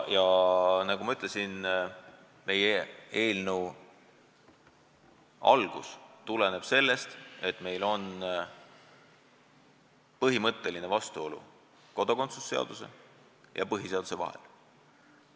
Ja nagu ma ütlesin, meie eelnõu algatati põhjusel, et meil on põhimõtteline vastuolu kodakondsuse seaduse ja põhiseaduse vahel.